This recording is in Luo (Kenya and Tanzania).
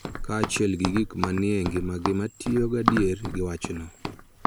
Kaachiel gi gik ma ni e ngimagi ma tiyo gadier gi wachno.